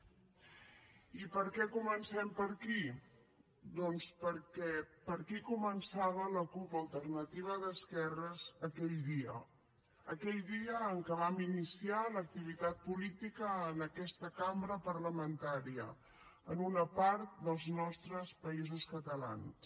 i per què comencem per aquí doncs perquè per aquí començava la cup alternativa d’esquerres aquell dia aquell dia en què vam iniciar l’activitat política en aquesta cambra parlamentària en una part dels nostres països catalans